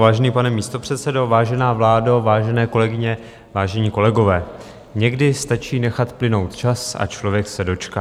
Vážený pane místopředsedo, vážená vládo, vážené kolegyně, vážení kolegové, někdy stačí nechat plynout čas a člověk se dočká.